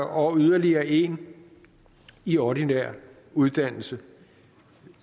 og yderligere en i ordinær uddannelse